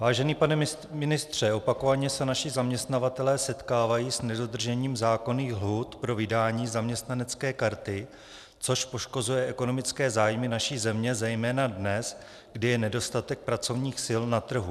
Vážený pane ministře, opakovaně se naši zaměstnavatelé setkávají s nedodržením zákonných lhůt pro vydání zaměstnanecké karty, což poškozuje ekonomické zájmy naší země zejména dnes, kdy je nedostatek pracovních sil na trhu.